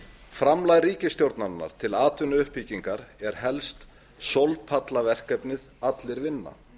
framlag ríkisstjórnarinnar til atvinnuuppbyggingar er helst sólpallaverkefnið allir vinna